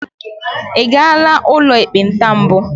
ị gara ụlọ ekpenta mbụ?